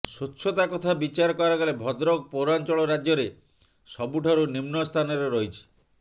ସ୍ୱଛତା କଥା ବିଚାର କରାଗଲେ ଭଦ୍ରକ ପୌରାଞ୍ଚଳ ରାଜ୍ୟରେ ସବୁଠାରୁ ନିମ୍ନ ସ୍ଥାନରେ ରହିଛି